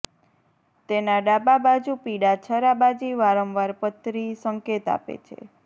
તેના ડાબા બાજુ પીડા છરાબાજી વારંવાર પથરી સંકેત આપે છે